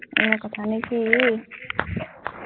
এয়াই কথানে কি,